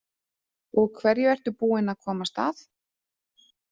Og hverju ertu búin að komast að?